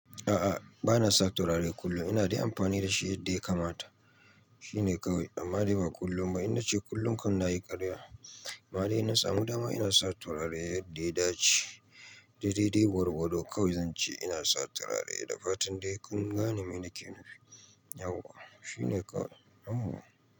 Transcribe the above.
A'a, bana sa turare kullum. Ina dai amfani da shi yadda ya kamata. Shi ne kawai. Amma dai ba kullum ba. Ina ce kullum kan na yi karya. Amma dai inna samu dama ina sa turare yadda ya dace. Da dai dai gwargwado kawai zan ce ina sa turare da fatan dai kun gane me nake nufi. Yauwa. Shi ne kawai. Yahwa.